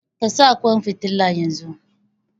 Ka sa ƙwan fitilan yanzu!